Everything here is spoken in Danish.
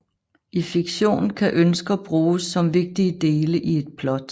I fiktion kan ønsker bruges som vigtige dele i et plot